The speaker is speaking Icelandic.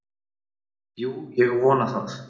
Jú, ég vona það.